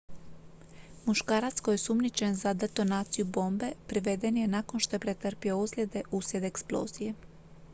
muškarac koji je osumnjičen za detonaciju bombe priveden je nakon što je pretrpio ozljede uslijed eksplozije